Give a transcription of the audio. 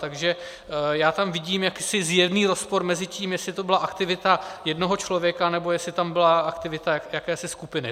Takže já tam vidím jakýsi zjevný rozpor mezi tím, jestli to byla aktivita jednoho člověka, nebo jestli tam byla aktivita jakési skupiny.